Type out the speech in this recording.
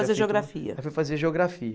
Fazer geografia. Aí foi fazer geografia